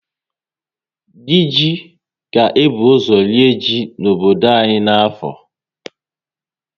Dị ji ga ebu ọzọ ree ji n'obodo anyị na afọ